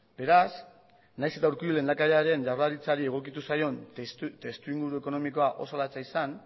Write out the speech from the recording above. beraz nahiz eta urkullu lehendakariaren jaurlaritzari egokitu zaion testuinguru ekonomikoa oso latza izan